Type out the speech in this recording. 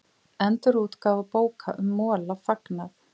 Endurútgáfu bóka um Mola fagnað